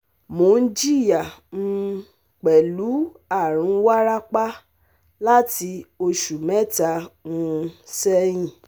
Mo n jiya um pẹlu arun warapa lati oṣu mẹta um sẹhin